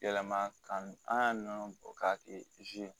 Yɛlɛma ka an ka nɔnɔ bɔ k'a kɛ